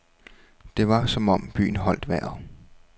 Det var som om byen holdt vejret.